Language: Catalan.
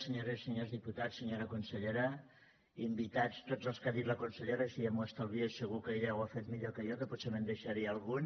senyores i senyors diputats senyora consellera invitats tots els que ha dit la consellera així ja m’ho estalvio i segur que ella ho ha fet millor que jo que potser me’n deixaria algun